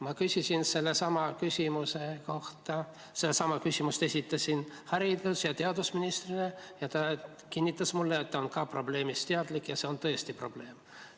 Ma esitasin sellesama küsimuse haridus- ja teadusministrile ning ta kinnitas mulle, et ka tema on probleemist teadlik ja et see on tõesti probleem.